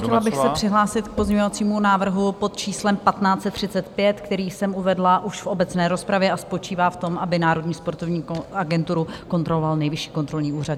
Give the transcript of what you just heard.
Chtěla bych se přihlásit k pozměňovacímu návrhu pod číslem 1535, který jsem uvedla už v obecné rozpravě, a spočívá v tom, aby Národní sportovní agenturu kontroloval Nejvyšší kontrolní úřad.